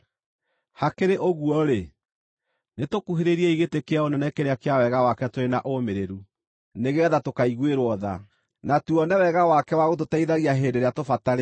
Hakĩrĩ ũguo-rĩ, nĩtũkuhĩrĩriei gĩtĩ kĩa Ũnene kĩrĩa kĩa Wega wake tũrĩ na ũũmĩrĩru, nĩgeetha tũkaiguĩrwo tha, na tuone Wega wake wa gũtũteithagia hĩndĩ ĩrĩa tũbatarĩte.